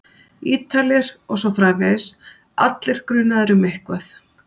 Ítalir. og svo framvegis, allir grunaðir um eitthvað.